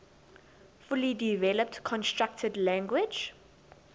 fully developed constructed language